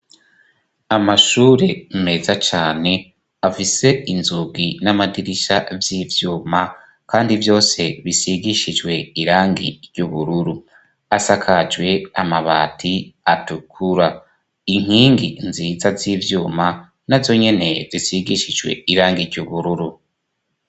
Amashure meza cane afise inzugi n'amadirisha vy'ivyuma kandi vyose bisigishijwe irangi ry'ubururu, asakajwe amabati atukura, inkingi nziza z'ivyuma nazo nyene zisigishijwe irangi ry'ubururu.